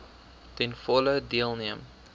ten volle deelneem